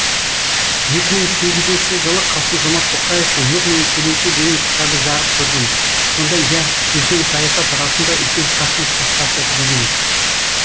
екі мың сегізінші жылы қасым жомарт тоқаевтың нұр мен көлеңке деген кітабы жарық көрген сонда иә үлкен саясат расында үлкен шахмет тақтасы дегенбіз